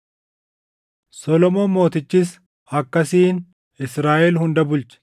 Solomoon Mootichis akkasiin Israaʼel hunda bulche.